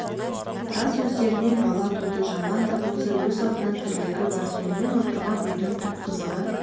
рас өздерінен бала туды жаман да болса өз алдына тірлігі бар сонымен отырған үйдің түп қазығы